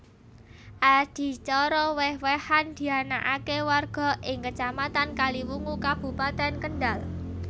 Adicara wèh wèhan dianakaké warga ing Kecamatan Kaliwungu Kabupatèn Kendhal